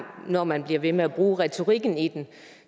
når man bliver ved med at bruge retorikken i den